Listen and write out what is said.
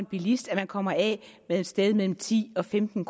bilist at man kommer af med et sted mellem ti og femten